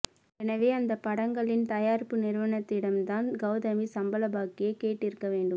எனவே அந்த படங்களின் தயாரிப்பு நிறுவனத்திடம்தான் கவுதமி சம்பள பாக்கியை கேட்டிருக்க வேண்டும்